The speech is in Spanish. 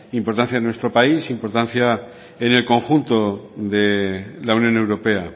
importancia en nuestro país importancia en el conjunto de la unión europea